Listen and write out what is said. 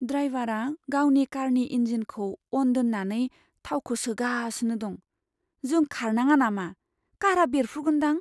ड्राइवारा गावनि कारनि इन्जिनखौ अन दोन्नानै थावखौ सोगासिनो दं। जों खारनाङा नामा? कारआ बेरफुगोनदां।